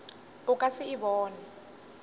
o ka se e bone